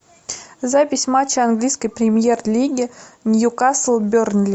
запись матча английской премьер лиги ньюкасл бернли